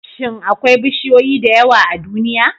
Shin akwai bishiyoyi da yawa a duniya?